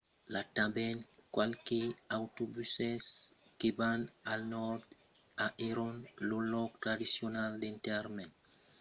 i a tanben qualques autobuses que van al nòrd a hebron lo lòc tradicional d’enterrament dels patriarcas biblics abraham isaac jacòb e lors femnas